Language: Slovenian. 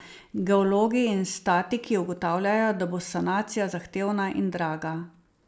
Geologi in statiki ugotavljajo, da bo sanacija zahtevna in draga.